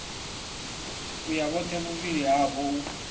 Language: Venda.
uya vhothe vhuvhili havho u